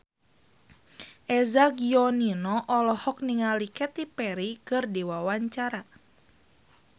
Eza Gionino olohok ningali Katy Perry keur diwawancara